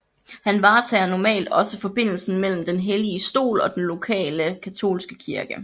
Han varetager normalt også forbindelserne mellem Den hellige Stol og den lokale katolske kirke